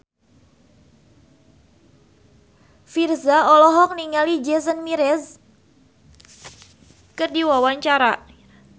Virzha olohok ningali Jason Mraz keur diwawancara